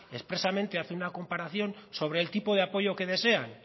expresamente hacen una comparación sobre el tipo de apoyo que desean